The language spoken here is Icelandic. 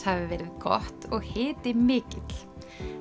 hafi verið gott og hiti mikill